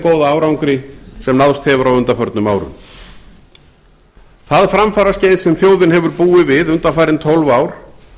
góða árangri sem náðst hefur á undanfönum árum það framfaraskeið sem þjóðin hefur búið við undanfarin tólf ár